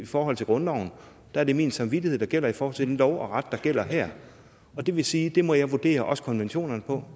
forhold til grundloven er det min samvittighed der gælder i forhold til den lov og ret der gælder her og det vil sige at det må jeg vurdere også konventionerne på